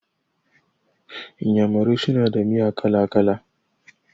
Iyamurai suna da miya kala-kala.